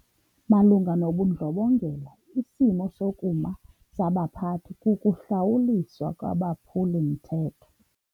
Malunga nobundlobongela isimo sokuma sabaphathi kukuhlawuliswa kwabaphuli-mthetho.